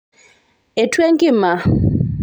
etua enkima